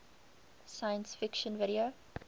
science fiction video